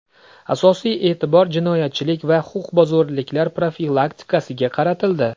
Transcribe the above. Asosiy e’tibor jinoyatchilik va huquqbuzarliklar profilaktikasiga qaratildi.